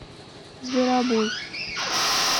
зверобой